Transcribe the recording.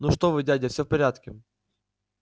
ну что вы дядя всё в порядке